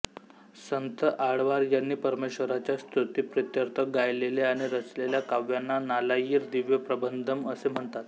संत आळ्वार यांनी परमेश्वराच्या स्तुतिप्रीत्यर्थ गायलेल्या आणि रचलेल्या काव्यांना नालायिर दिव्य प्रबंधम् असे म्हणतात